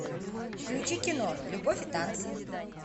включи кино любовь и танцы